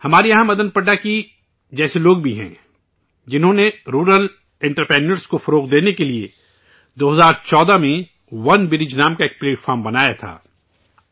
ہمارے یہاں مدن پڑاکی جیسے لوگ بھی ہیں جنہوں نے رورل انٹرپریونیورز کو فروغ دینے کے لئے 2014 میں ونبرج نام کا پلیٹ فارم بنایا تھا